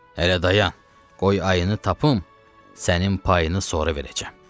Hələ dayan, qoy ayını tapım, sənin payını sonra verəcəm.